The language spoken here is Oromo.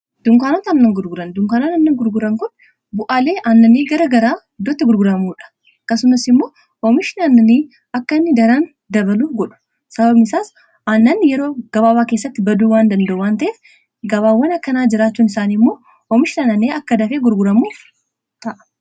Dunkaanota annan gurguran dunkaanooni annan gurguran kun bu'aalee aannanii gara garaa iddootti gurguramuudha. Akkasumas immoo oomishaa annanii akka daran dabaluu godhu sababani isaas annanni yeroo gabaabaa keessatti baduu waan danda'a wan ta'ef gabaawwan akkanaa jiraachuun isaanii immoo oomishni aannaani akka dafe gurguramuu ta’a.